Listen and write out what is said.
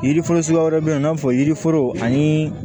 Yiri foro suguya wɛrɛ bɛ yen i n'a fɔ yiriforo ani